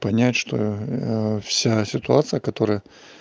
понять что вся ситуация которая